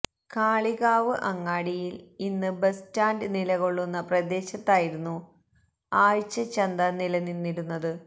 കാളികാവ് അങ്ങാടിയിൽ ഇന്ന് ബസ്സ്റ്റാന്റ് നിലകൊള്ളുന്ന പ്രദേശത്തായിരുന്നു ആഴ്ച ചന്ത നിലനിന്നിരുന്നത്